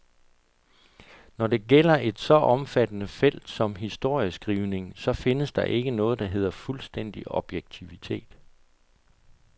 Når det gælder et så omfattende felt som historieskrivningen, så findes der ikke noget, der hedder fuldstændig objektivitet.